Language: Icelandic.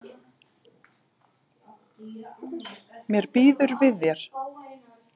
Mér býður við þér.